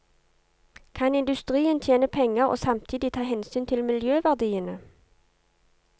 Kan industrien tjene penger og samtidig ta hensyn til miljøverdiene?